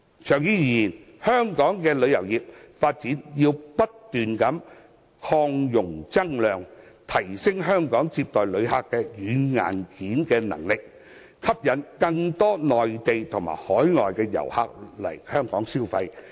長遠而言，香港旅遊業的發展要不斷擴容增量，提升香港接待旅客的軟硬件能力，吸引更多內地和海外遊客到港消費。